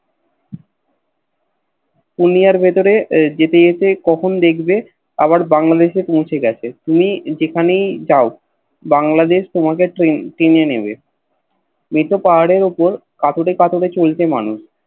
কুনিয়ের ভেতরে কখন যেতে যেতে দেখবে আবার বাংলা দেশে পৌছে গেছে তুমি যেখানেই যাও বাংলাদেশ তোমাকে চীনে নেবে মেতে পাহাড়ের ওপর কতরে কতরে চলছে মানুষ